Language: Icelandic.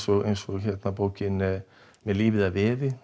eins og bókin með lífið að veði